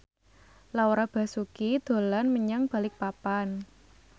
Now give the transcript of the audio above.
Laura Basuki dolan menyang Balikpapan